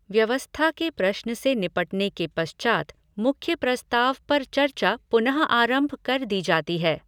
व्यवस्था के प्रश्न से निपटने के पश्चात् मुख्य प्रस्ताव पर चर्चा पुनःआरंभ कर दी जाती है।